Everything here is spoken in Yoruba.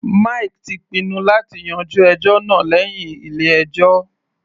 Mike ti pinnu láti yanjú ẹjọ́ náà lẹ́hìn ilé ẹjọ́.